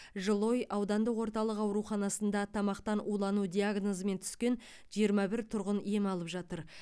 жылыой аудандық орталық ауруханасында тамақтан улану диагнозымен түскен жиырма бір тұрғын ем алып жатыр